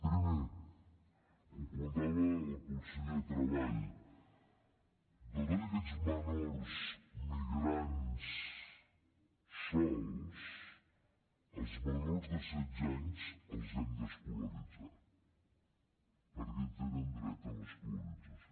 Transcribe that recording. primer ho comentava el conseller de treball de tots aquests menors migrants sols els menors de setze anys els hem d’escolaritzar perquè tenen dret a l’escolarització